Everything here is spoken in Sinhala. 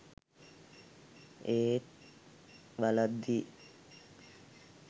ඒත් බලද්දි